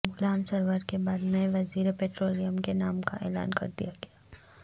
غلام سرور کے بعد نئے وزیر پیٹرولیم کے نام کا اعلان کر دیا گیا